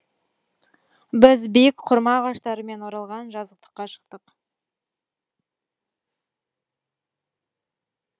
біз биік құрма ағаштарымен оралған жазықтыққа шықтық